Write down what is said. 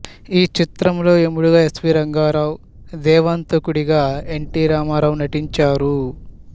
ఈ చిత్రంలో యముడిగా ఎస్వీ రంగారావు దేవాంతకుడిగా ఎన్టీ రామారావు నటించారు